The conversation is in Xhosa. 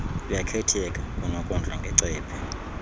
kuyakhetheka kunokondla ngecephe